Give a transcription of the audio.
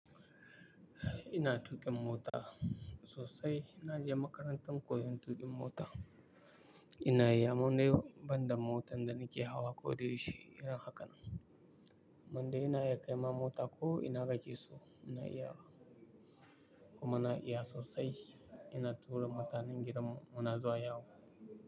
Ina tuƙin mota sosai. Inka je makarantar koyon tuƙin mota. Ina yi amman dai banda motan da nake hawa ko da yaushe irin haka. Wanda ina iya kai ma mota ko ina kakeso, kuma na iya sosai. Ina tura mutanen gidan mu muna zuwa yawo.